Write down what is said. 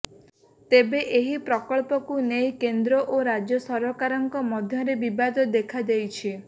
ତେବେ ଏହି ପ୍ରକଳ୍ପକୁ ନେଇ କେନ୍ଦ୍ର ଓ ରାଜ୍ୟ ସରକାରଙ୍କ ମଧ୍ୟରେ ବିବାଦ ଦେଖାଦେଇଛି